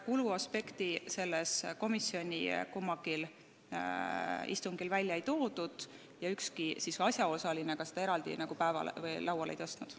Kuluaspekti komisjoni kummalgi istungil välja ei toodud ja ükski asjaosaline seda ka eraldi lauale ei tõstnud.